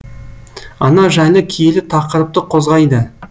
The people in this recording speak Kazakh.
ана жайлы киелі тақырыпты қозғайды